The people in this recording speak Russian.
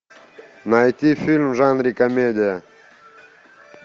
найти фильм в жанре комедия